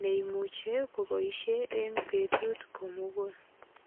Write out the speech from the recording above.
neimuche koboisie betut komugul.